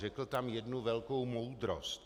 Řekl tam jednu velkou moudrost.